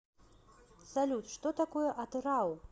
салют что такое атырау